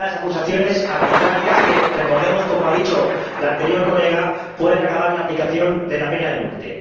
Unas acusaciones arbitrarias que, recordemos —como ha dicho la anterior oradora—, pueden acabar en la aplicación de la pena de muerte.